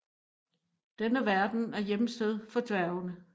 Denne verden er hjemsted for dværgene